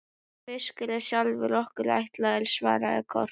Sá fiskur er sjálfum okkur ætlaður, svaraði Kort.